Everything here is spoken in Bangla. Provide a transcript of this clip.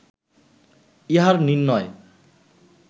ইহার নির্ণয়